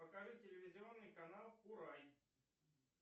покажи телевизионный канал урай